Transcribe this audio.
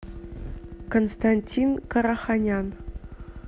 константин караханян